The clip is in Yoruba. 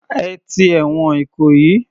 Ẹ ti ẹ̀wọ̀n Ìkòyí.